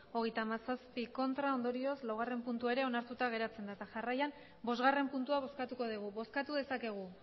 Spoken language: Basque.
hogeita hamazazpi ondorioz laugarren puntua ere onartuta geratzen da eta jarraian bosgarren puntua bozkatuko dugu bozkatu dezakegu